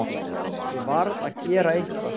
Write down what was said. Ég varð að gera eitthvað.